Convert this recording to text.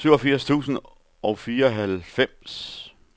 syvogfirs tusind og fireoghalvfems